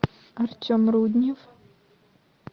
артем руднев